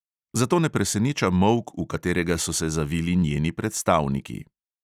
Zato ne preseneča molk, v katerega so se zavili njeni predstavniki.